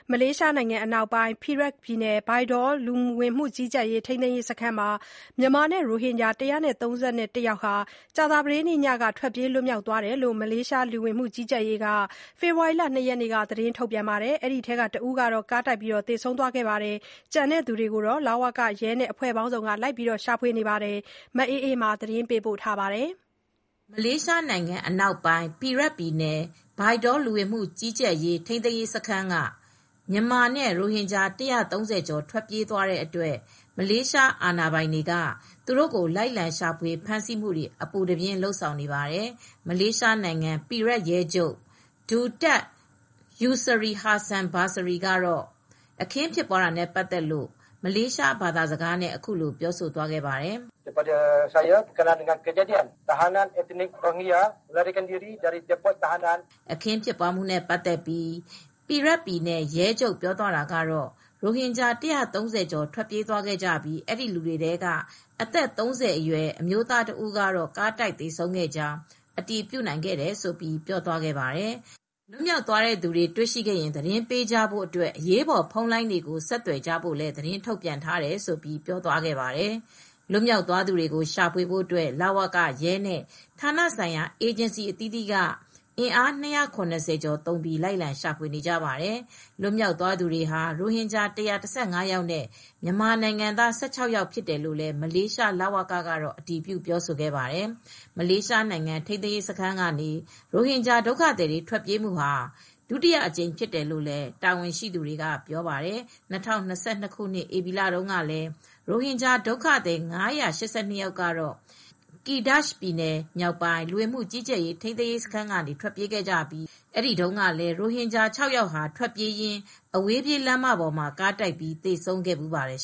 မလေးရှာနိုင်ငံအနောက်ပိုင်း Perak ပြည်နယ် Bidor လူဝင်မှုကြီးကြပ်ရေးထိန်းသိမ်းရေးစခန်းက မြန်မာနဲ့ ရိုဟင်ဂျာ ၁၃၁ ယောက်ဟာ ကြာသပတေးညကထွက်ပြေးလွတ်မြောက်သွားခဲ့တယ်လို့ လူဝင်မှုကြီးကြပ်ရေး ညွှန်ကြားရေးမှူး ရပ်စ်လင်ဂျူဆိုက ဖေဖေါ်ဝါရီလ ၂ရက်နေ့က ထုတ်ပြန်ပြောဆိုပါတယ်။ ဒီထဲက တဦးကတော့ ကားတိုက်သေဆုံးသွားတယ်လို့ဆိုပါတယ်။ ကျန်သူတွေကို လ၀က ရဲနဲ့အဖွဲ့ပေါင်းစုံကလိုက်လံရှာဖွေနေဆဲဖြစ်ပါတယ်။ ဒီသတင်းကိုဗွီအိုအေသတင်းထောက်မအေးမာကသတင်းပေးပို့ထားပါတယ်။ မလေးရှာနိုင်ငံအနောက်ပိုင်း ပီရက်ခ်ပြည်နယ် ဘိုင်ဒေါ လူဝင်မှုကြီးကြပ်ရေးထိန်းသိမ်းရေးစခန်းက မြန်မာနဲ့ ရိုဟင်ဂျာ ၁၀၀ ကျော် ထွက်ပြေး သွားတဲ့အတွက်မလေးရှားအာဏာပိုင်တွေက သူတို့ကိုအပူတပြင်းလိုက်လံ ရှာဖွေ ဖမ်းဆီးနေကြပါတယ်။ မလေးရှားနိုင်ငံ Perak ရဲချုပ် Datuk Mohd Yusri Hassan Basri ကတော့ အခင်းဖြစ်ပွားတာနဲ့ပတ်သက်လို့မလေးရှားဘာသာနဲ့အခုလိုပြောသွားပါတယ်။ "ရိုဟင်ဂျာ ၁၃၀ကျော်ထွက်ပြေးသွားကြပြီး အဲဒီလူတွေထဲက အသက်၃၀ အရွယ်အမျိုးသားတစ်ဦးကတော့ ကားတိုက်သေဆုံးခဲ့ ကြာင်း အတည် ပြုနိုင်ခဲ့ပါတယ်၊ လွတ်မြောက်သွားသူတွေကို တွေ့ရှိခဲ့ရင် သတင်းပေးကြဖို့ အတွက်အရေးပေါ်ဖုန်းလိုင်းတွေကိုဆက်သွယ်ကြဖို့ သတင်းထုတ်ပြန်ထားပါတယ်" လွတ်မြောက်သွားသူတွေကို ရှာဖွေဖို့အတွက် လ၀က ရဲနဲ့ ဌာနဆိုင်ရာ အေဂျင်စီအသီးသီးက အင်အား ၂၇၀ကျော်သုံးပြီးလိုက်လံရှာဖွေနေကပါတယ် ။ လွတ်မြောက်သွားသူတွေဟာ ရိုဟင်ဂျာ ၁၁၅ ယောက်နဲ့ မြန်မာနိုင်ငံသား ၁၆ ယောက်တို့ဖြစ်တယ်လို့ မလေးရှားလ၀ကကတော့ အတည်ပြုပြောဆိုပါတယ်။ မလေးရှားနိုင်ငံ ထိန်းသိမ်းရေးစခန်းကနေ ရိုဟင်ဂျာဒုက္ခသည်တွေ ခုလို ထွက်ပြေးတာဟာ ဒုတိယအကြိမ်ဖြစ်တယ်လို့ တာဝန်ရှိသူတွေက ပြောပါတယ်။ ၂၀၂၂ ခုနှစ် ဧပြီလတုန်းကလည်း ရိုဟင်ဂျာဒုက္ခသည် ၅၈၂ ယောက်ကတော့ ကီဒါ့ချ်ပြည်နယ်မြောက်ပိုင်း လူဝင်မှုကြီးကြပ်ရေးထိန်းသိမ်းရေး စခန်းကနေ ထွက်ပြေးခဲ့ပြီး၊ အဲဒီတုန်းကလည်း ရိုဟင်ဂျာ ၆ ယောက်ဟာ ထွက်ပြေးရင်း အဝေးပြေးလမ်းပေါ်မှာ ကားတိုက်ပြီး သေဆုံးခဲ့ဖူးပါတယ်